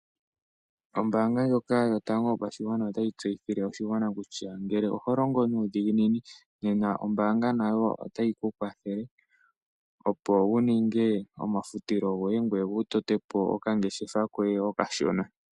Ombaanga ndjoka yotango yopashigwana otayi tseyithile oshigwana kutya, ngele oho longo nuudhiginini nena ombanga nayo otayi ku kwathele opo wu ninge omafutilo goye gweye wu tote po okangeshefa koye okashona.